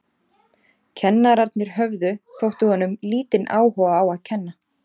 Kennararnir höfðu, þótti honum, lítinn áhuga á að kenna.